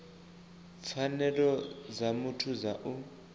pfanelo dza muthu dza u